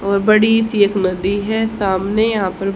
और बड़ी सी एक नदी है सामने यहां पर--